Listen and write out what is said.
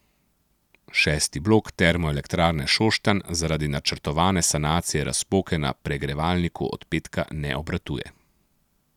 Šesti blok Termoelektrarne Šoštanj zaradi načrtovane sanacije razpoke na pregrevalniku od petka ne obratuje.